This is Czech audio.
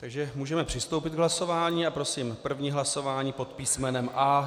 Takže můžeme přistoupit k hlasování a prosím první hlasování pod písmenem A.